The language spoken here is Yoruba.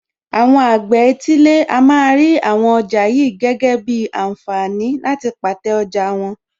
Àwọn àgbẹ̀ etílé a máa rí àwọn ọjà yìí gẹ́gẹ́ bíi ànfààní láti pàtẹ́ ọjà wọn.